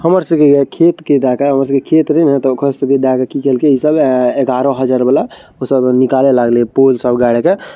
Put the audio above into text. हमर स गीय खेत के दाका हमर सब के खेत नहीं के सबे ग्यारह हजार वाला उ सब निकाले लगइले पोल सब गाड़ के --